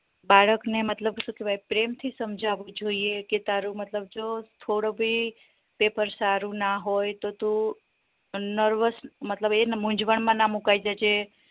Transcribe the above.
બાળક ને મતલબ શું કેવાય પ્રેમ થી સમજાવવી જોઈએ કે તારું મતલબ જો થોડો ભી paper સારું ના તો તું nervous મતલબ એ મુન્જ્વન માં ના મુકાય જાય જે